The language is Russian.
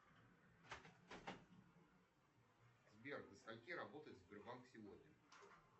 сбер до скольки работает сбербанк сегодня